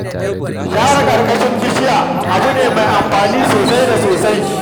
Share ƙarƙashin bishiyoyi abu ne me amfani sosai da sosai